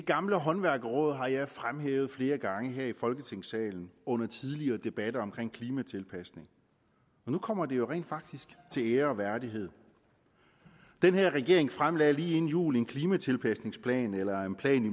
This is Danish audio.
gamle håndværkerråd har jeg fremhævet flere gange her i folketingssalen under tidligere debatter om klimatilpasning nu kommer det jo rent faktisk til ære og værdighed den her regering fremlagde lige inden jul en klimatilpasningsplan eller en plan i